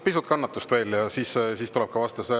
Pisut kannatust veel ja siis tuleb ka vastus.